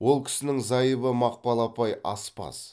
ол кісінің зайыбы мақпал апай аспаз